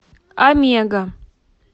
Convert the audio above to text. омега